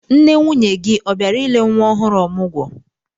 Nne nwunye gị ọ bịara ile nwa ohụrụ ọmụgwọ?